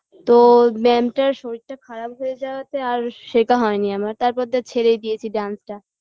তো mam -টার শরীরটা খারাপ হয়ে যাওয়াতে আর শেখা হয়নি আমার তারপর দিয়ে আর ছেড়েই দিয়েছি dance -টা